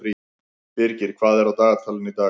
Birgir, hvað er á dagatalinu í dag?